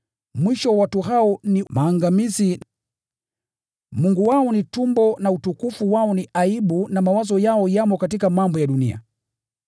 Mwisho wa watu hao ni maangamizi, Mungu wao ni tumbo, na utukufu wao ni aibu, na mawazo yao yamo katika mambo ya dunia.